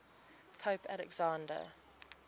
pope alexander